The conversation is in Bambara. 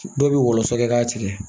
Dɔw bɛ wɔlɔsɔ kɛ k'a tigɛ